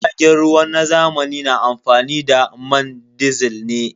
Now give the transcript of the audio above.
Jiragen ruwa na zamani na amfani da man disil ne.